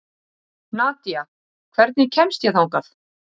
Nadja, hvernig kemst ég þangað?